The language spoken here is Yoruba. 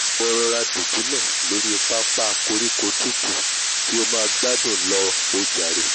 ìwọ rọra dùbúlẹ̀ lóri pápá koríko tútù kí o máa gbádùn lọ o jàre!